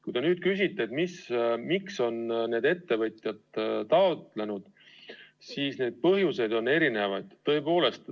Kui te küsite, miks on ettevõtjad seda meedet taotlenud, siis vastan, et põhjuseid on erisuguseid.